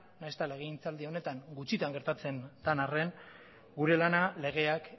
nahiz eta legegintzaldi honetan gutxitan gertatzen den arren gure lana legeak